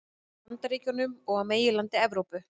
Bandaríkjunum og á meginlandi Evrópu.